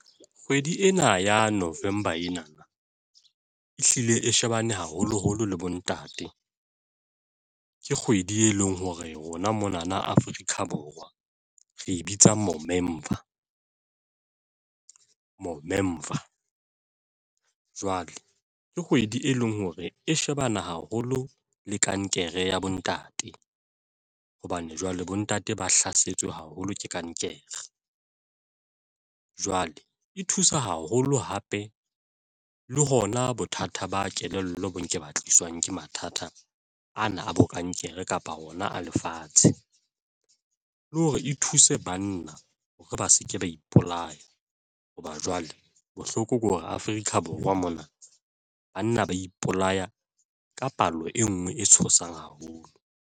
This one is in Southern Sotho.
Kgwedi ena ya November, ena na e hlile e shebane, haholoholo le bontate, ke kgwedi, e leng hore, rona monana Afrika Borwa. Re bitsa moo Movember jwale ke kgwedi e leng hore e shebane haholo le kankere ya bontate hobane jwale bontate ba hlasetswe haholo ke kankere ng jwale e thusa haholo hape le hona bothata ba kelello bo nke ba tliswang ke mathata ana a bo kankere kapa ona a lefatshe, le hore e thuse banna hore ba se ke ba ipolaya. Hoba jwale bohloko ke hore Afrika Borwa mona banna ba ipolaya ka palo e nngwe e tshosang haholo.